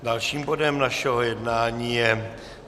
Dalším bodem našeho jednání je